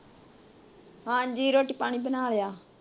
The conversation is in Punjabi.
ਹਾਂਜੀ ਰੋਟੀ ਪਾਣੀ ਬਣਾ ਲਿਆ ।